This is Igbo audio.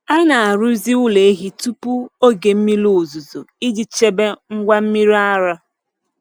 A na-arụzi ụlọ ehi tupu oge mmiri ozuzo iji chebe ngwa mmiri ara.